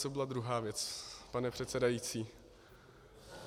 Co byla druhá věc, pane předsedající?